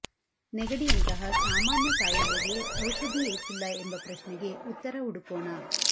ನೆಗಡಿಯಂತಹ ಸಾಮಾನ್ಯ ಕಾಯಿಲೆಗೆ ಔಷಧಿ ಏಕಿಲ್ಲ ಎಂಬ ಪ್ರಶ್ನೆಗೆ ಉತ್ತರ ಹುಡುಕೋಣ